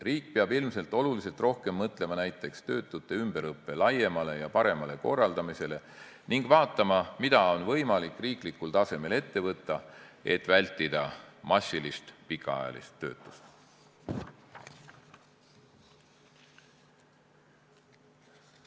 Riik peab ilmselt oluliselt rohkem mõtlema näiteks töötute ümberõppe laiemale ja paremale korraldamisele ning vaatama, mida on võimalik riiklikul tasemel ette võtta, et vältida massilist pikaajalist töötust.